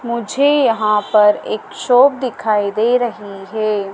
मुझे यहां पर एक शॉप दिखाई दे रही है।